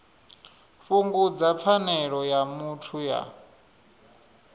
fhungudza pfanelo ya muthu ya